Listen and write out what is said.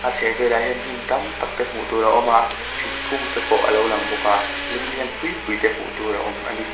a chhehvelah hian hnim tam tak te hmuh tur a awm a thingkungte pawh alo lang bawk a lung lian pui pui te hmuh tur a awm a ni.